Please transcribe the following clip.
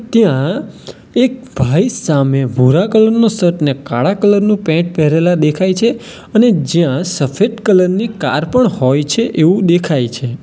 ત્યાં એક ભાઈ સામે ભૂરા કલર નું શર્ટ ને કાળા કલર નું પેન્ટ પહેરેલા દેખાય છે અને જ્યાં સફેદ કલર ની કાર પણ હોય છે એવું દેખાય છે.